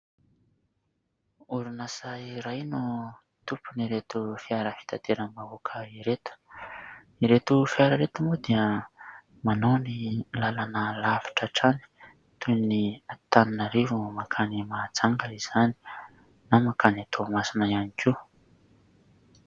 Orinasa iray no tompony ireto fiara fitateram-bahoaka ireto. Ireto fiara ireto moa dia manao ny lalana lavitra hatrany toy ny Antananarivo mankany Mahajanga izany na mankany Toamasina ihany koa.